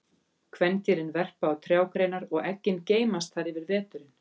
Kvendýrin verpa á trjágreinar og eggin geymast þar yfir veturinn.